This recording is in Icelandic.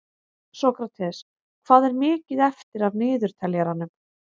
Sókrates, hvað er mikið eftir af niðurteljaranum?